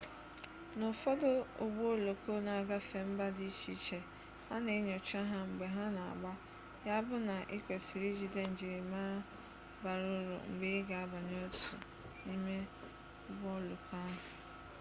n'ufodu ugbo oloko n'agafe mba di iche iche ana enyocha ha mgbe ha na gbaa ya bu na ikwesiri ijide njirimara bara uru mgbe iga abanye otu n'imeugbo oloko ahu